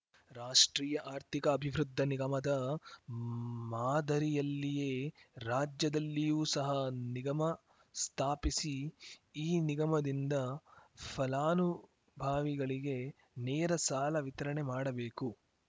ರಾಷ್ಟ್ರೀಯ ಆರ್ಥಿಕ ಅಭಿವೃದ್ಧಿ ನಿಗಮದ ಮಾದರಿಯಲ್ಲಿಯೇ ರಾಜ್ಯದಲ್ಲಿಯೂ ಸಹ ನಿಗಮ ಸ್ಥಾಪಿಸಿ ಈ ನಿಗಮದಿಂದ ಫಲಾನುಭಾವಿಗಳಿಗೆ ನೇರ ಸಾಲ ವಿತರಣೆ ಮಾಡಬೇಕು